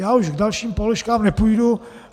Já už k dalším položkám nepůjdu.